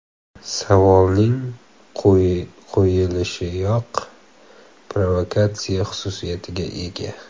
Savolning qo‘yilishiyoq provokatsiya xususiyatiga ega.